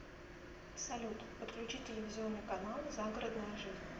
салют подключи телевизионный канал загородная жизнь